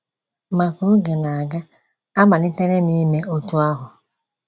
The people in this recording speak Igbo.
Ma ka oge na - aga, amalitere m ime otú ahụ.